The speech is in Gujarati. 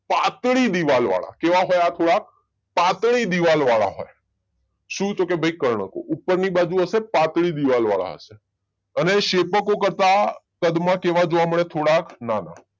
પાતળી દીવાલ વાળા કેવા હોય આ પાતળી દીવાલ વાળા હોય શું તો કે ભાઈ કર્ણકો ઉપરની બાજુ હશે પાતળી દીવાલ વાળા હશે અને શેપકો કરતા કદમાં કેવા જોવા મળે થોડા નાના